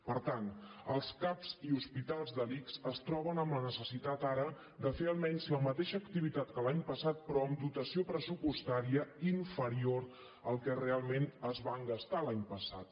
per tant els cap i hospitals de l’ics es troben amb la necessitat ara de fer almenys la mateixa activitat que l’any passat però amb dotació pressupostària inferior al que realment es van gastar l’any passat